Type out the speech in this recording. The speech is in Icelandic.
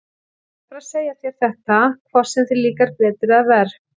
Ég verð bara að segja þér þetta, hvort sem þér líkar betur eða verr.